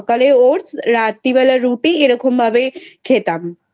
সকালে Oats রাত্রিবেলা রুটি এরকম ভাবে খেতাম।